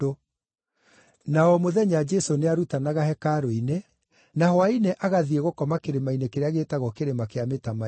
Na o mũthenya Jesũ nĩarutanaga hekarũ-inĩ, na hwaĩ-inĩ agathiĩ gũkoma kĩrĩma-inĩ kĩrĩa gĩĩtagwo Kĩrĩma kĩa Mĩtamaiyũ.